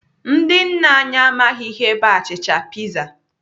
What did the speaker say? Ndị nna anyị amaghị ihe bụ achịcha piza.